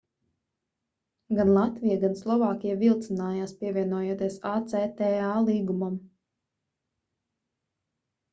gan latvija gan slovākija vilcinājās pievienoties acta līgumam